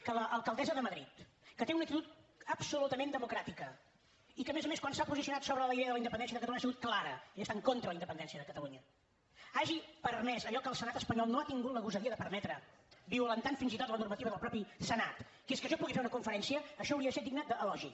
que l’alcaldessa de madrid que té una actitud absolutament democràtica i que a més a més quan s’ha posicionat sobre la idea de la independència de catalunya ha sigut clara i està en contra de la independència de catalunya hagi permès allò que el senat espanyol no ha tingut la gosadia de permetre violentant fins i tot la normativa del mateix senat que és que jo pugui fer una conferència això hauria de ser digne d’elogi